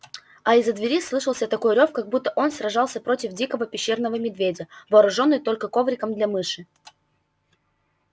а из-за двери слышался такой рёв как будто он сражался против дикого пещерного медведя вооружённый только ковриком для мыши